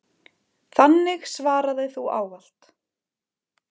Þannig svaraði þú ávallt.